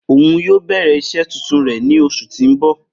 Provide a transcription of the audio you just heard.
Oun yoo bẹrẹ iṣẹ tuntun rẹ ni oṣu ti n bọ.